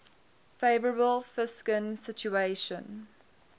favourable fiscal situation